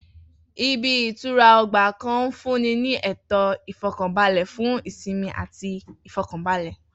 Ibi -ìtura ọgbà kan ń fúnni ni ètò Ìfọ̀kànbalẹ̀ fun ìsinmi ati Ìfọ̀kànbalẹ̀.